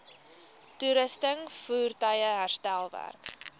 toerusting voertuie herstelwerk